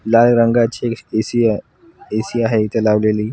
लाल रंगाची ए_सी आहे ए_सी आहे इथे लावलेली.